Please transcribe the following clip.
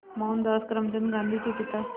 मोहनदास करमचंद गांधी के पिता